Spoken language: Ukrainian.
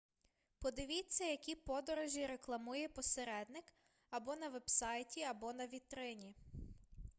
подивіться які подорожі рекламує посередник або на вебсайті або на вітрині